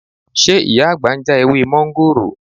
Ṣé Ìyá àgbà ń já ewé mọ́ńgòrò?